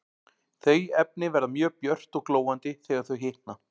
Þau efni verða mjög björt og glóandi þegar þau hitna.